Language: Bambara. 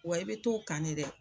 Wa i bɛ to kan de dɛ.